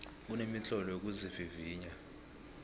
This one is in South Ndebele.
kunemitlolo yokuzivivinya